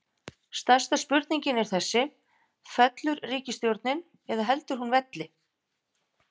Stærsta spurningin er þessi, fellur ríkisstjórnin eða heldur hún velli?